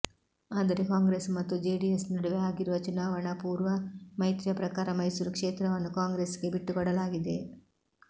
ಆದರೆ ಕಾಂಗ್ರೆಸ್ ಮತ್ತು ಜೆಡಿಎಸ್ ನಡುವೆ ಆಗಿರುವ ಚುನಾವಣಾಪೂರ್ವ ಮೈತ್ರಿಯ ಪ್ರಕಾರ ಮೈಸೂರು ಕ್ಷೇತ್ರವನ್ನು ಕಾಂಗ್ರೆಸ್ಗೆ ಬಿಟ್ಟುಕೊಡಲಾಗಿದೆ